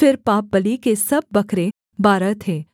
फिर पापबलि के सब बकरे बारह थे